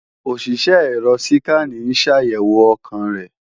Òṣìṣẹ́ ẹ̀rọ síkànì ń ṣàyẹ̀wò ọkàn rẹ̀